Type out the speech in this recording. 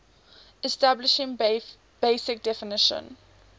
establishing basic definition